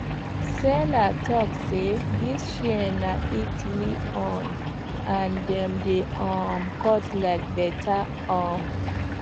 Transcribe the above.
seller talk say these shears na italy own and dem dey um cut like butter um